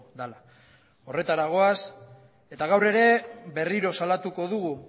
dela horretara goaz eta gaur ere berriro salatuko dugu